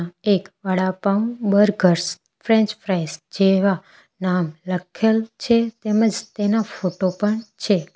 એક vada pav burgers French fries જેવા નામ લખેલ છે તેમજ તેના ફોટો પણ છે.